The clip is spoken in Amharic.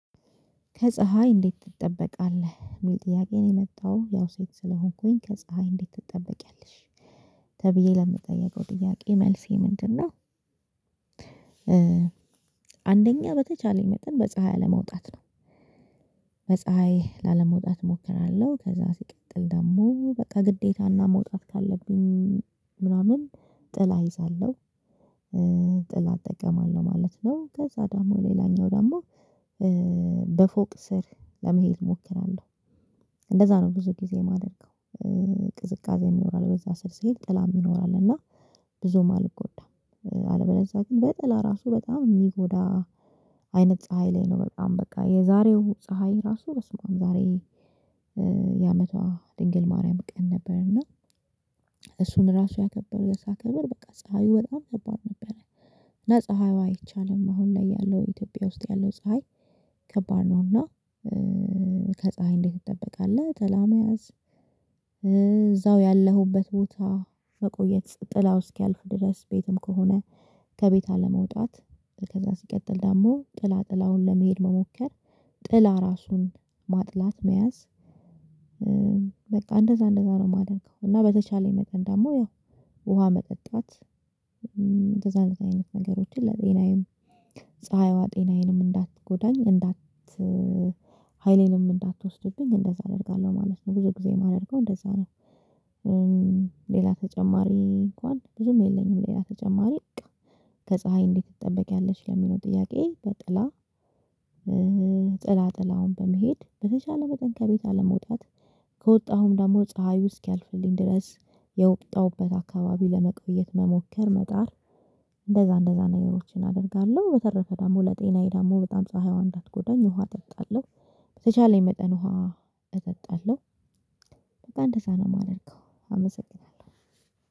ከፀሀይ እንዴት ትጠበቃለህ የሚል ጥያቄ ነው የመጣው ያው ሴት ስለሆንኩኝ ከፀሀይ እንዴት ትጠበቂያለሽ ተብዬ ለምጠየቀው ጥያቄ መልሴ ምንድነው? አንደኛ በተቻለኝ መጠን በፀሀይ አለመውጣት ነው። በፀሀይ ላለመውጣት እሞክራለሁ ከዛ ሲቀጥል ደግሞ በቃ ግዴታና መውጣት ካለብኝ ምናምን ጥላ እይዛለሁ። ጥላ እጠቀማለሁ ማለት ነው። ከዛ ደግሞ ሌላኛው ደግሞ በፎቅ ስር ለመሄድ እሞክራለሁ። እንደዛ ነው ብዙ ጊዜ የማደርገው። ቅዝቃዜ ይኖራል በዛ ስር ሄድ ጥላም ይኖራል እና ብዙም አልጎዳም። አለበዛ ግን በጥላ ራሱ በጣም የሚጎዳ አይነት ፀሀይ ላይ ነው በጣም በቃ የዛሬው ፀሀይ ራሱ በስመ አብ ዛሬ የአመቷ ድንግል ማርያም ቀን ነበር። እና እሱን ራሱ ያከበር የሳከበር በቃ ፀሀይ በጣም ነበር ነበረ። እና ፀሀዩ አይቻልም አሁን ላይ ያለው ኢትዮጵያ ውስጥ ያለው ፀሀይ ከባድ ነው። እና ከፀሀይ እንዴት ትጠበቃለህ ጥላ መያዝ? እዛው ያለሁበት ቦታ መቆየት ጥላው እስኪያልፍ ድረስ ቤትም ከሆነ ከቤት አለመውጣት ከዛ ሲቀጥል ደግሞ ጥላ ጥላውን ለመሄድ መሞከር ጥላ ራሱን ማጥላት መያዝ። በቃ እንደዛ እንደዛ ነው የማደርገው እና በተቻለኝ መጠን ደግሞ ያው ውሃ መጠጣት። እንደዛ አይነት ነገሮችን ለጤናዬም ፀሀይዋ ጤናዬንም እንዳትጎዳኝ እንዳት ሀይሌንም እንዳትወስድብኝ እንደዛ አደርጋለሁ ማለት ነው። ብዙ ጊዜ የማደርገው እንደዛ ነው። ሌላ ተጨማሪ እንኳን ብዙም የለኝም። ሌላ ተጨማሪ በቃ ከፀሀይ እንዴት ትጠበቂያለሽ ለሚለው ጥያቄ በጥላ። ጥላ ጥላውን በመሄድ በተቻለ መጠን ከቤት አለመውጣት ከወጣሁም ደግሞ ፀሀዩ እስኪያልፍልኝ ድረስ የወጣሁበት አካባቢ ለመቆየት መሞከር መጣር። እንደዛ እንደዛ ነገሮችን አደርጋለሁ በተረፈ ደግሞ ለጤናዬ ደግሞ በጣም ፀሀይዋን እንዳትጎዳኝ ውሃ እጠጣለሁ። በተቻለኝ መጠን ውሃ እጠጣለሁ። በጣም እንደዛ ነው የማደርገው አመሰግናለሁ